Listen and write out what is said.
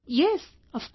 Yes, of course